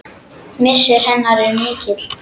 Missir hennar er mikill.